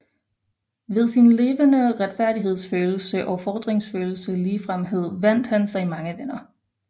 Ved sin levende retfærdighedsfølelse og fordringsløse ligefremhed vandt han sig mange venner